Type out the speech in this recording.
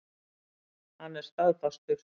Hann er staðfastur.